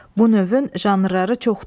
Bu növün janrları çoxdur.